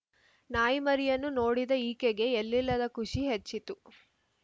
ನಾಯಿಮರಿಯನ್ನು ನೋಡಿದ ಈಕೆಗೆ ಎಲ್ಲಿಲ್ಲದ ಖುಷಿ ಹೆಚ್ಚಿತು